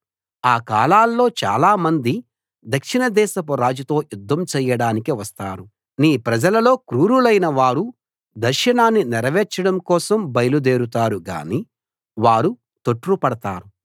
ఆ కాలాల్లో చాలా మంది దక్షిణదేశపు రాజుతో యుద్ధం చేయడానికి వస్తారు నీ ప్రజల లో క్రూరులైన వారు దర్శనాన్ని నెరవేర్చడం కోసం బయలు దేరుతారు గానీ వారు తొట్రుపడతారు